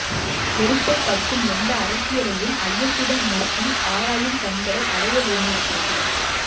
வெறுப்பை கக்கும் எந்த அரசியலையும் ஐயத்துடன் நோக்கி ஆராயும் கண்களை அடையவேண்டியிருக்கிறது